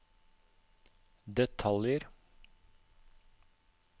detaljer